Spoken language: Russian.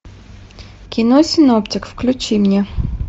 кино синоптик включи мне